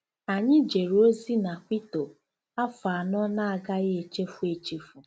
Anyị jere ozi na Quito afọ anọ na-agaghị echefu echefu.